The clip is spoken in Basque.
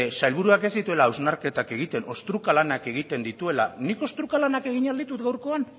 sailburuak ez dituela hausnarketak egiten ostruka lanak egiten dituela nik ostruka lanak egin ahal ditut gaurkoan